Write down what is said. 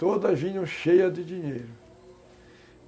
Todas vinham cheias de dinheiro.